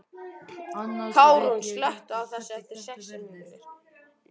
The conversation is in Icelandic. Karún, slökktu á þessu eftir sextíu mínútur.